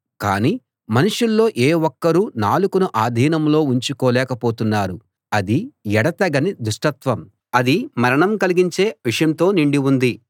కాని మనుషుల్లో ఏ ఒక్కరూ నాలుకను ఆధీనంలో ఉంచుకోలేక పోతున్నారు అది ఎడతెగని దుష్టత్వం అది మరణం కలిగించే విషంతో నిండి ఉంది